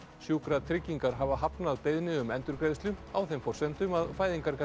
sjúkratryggingar hafa hafnað beiðni um endurgreiðslu á þeim forsendum að